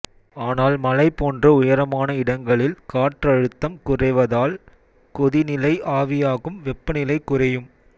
ஆனால் மலை போன்ற உயரமான இடங்களில் காற்றழுத்தம் குறைவதால் கொதிநிலை ஆவியாகும் வெப்பநிலை குறையும்